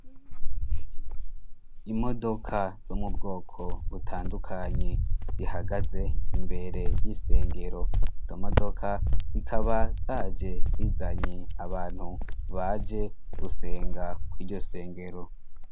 Imodoka zo mu bwoko butandukanye zihagaze imbere y'isengero zo modoka zikaba zaje zizanye abantu baje gusenga kw’iryo sengero.